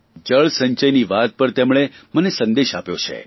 જળસંચયની વાત પર તેમણે મને સંદેશ આપ્યો છે